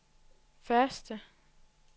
første